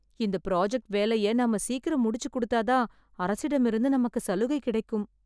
இந்த ப்ராஜக்ட் வேலையை நாம சீக்கிரம் முடிச்சு குடுத்தாதான் அரசிடம் இருந்து நமக்கு சலுகை கிடைக்கும்.